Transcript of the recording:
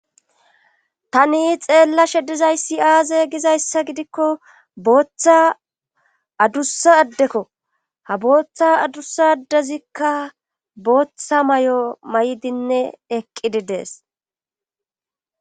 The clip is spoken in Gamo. tani xeella shedizayssi aaze gizayssa gidikko booththa adussa addekko ha booththa adussa addezikka booththa may7o may7dinne eqqididees